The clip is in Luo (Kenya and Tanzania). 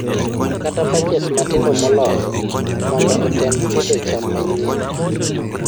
kata patches matindo moloyo mondo otem pidho cham manyien